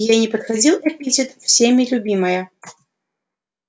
ей не подходил эпитет всеми любимая